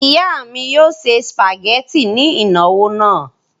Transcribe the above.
Ìyá mi yóò se sìpàgẹ́tì ní ìnáwó náà.